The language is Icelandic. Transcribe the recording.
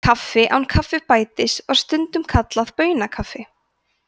kaffi án kaffibætis var stundum kallað baunakaffi